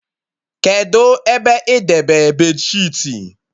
Kedụ ebe idebe beedịsheetị?